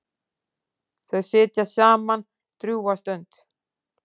Þau sitja saman drjúga stund.